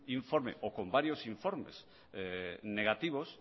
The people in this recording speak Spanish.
informe o con varios informes negativos